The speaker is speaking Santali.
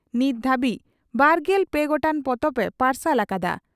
ᱱᱤᱛ ᱫᱷᱟᱹᱨᱤᱡᱽ ᱵᱟᱨᱜᱮᱞ ᱯᱮ ᱜᱚᱴᱟᱝ ᱯᱚᱛᱚᱵ ᱮ ᱯᱟᱨᱥᱟᱞ ᱟᱠᱟᱫᱼᱟ ᱾